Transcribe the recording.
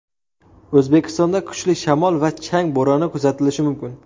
O‘zbekistonda kuchli shamol va chang bo‘roni kuzatilishi mumkin.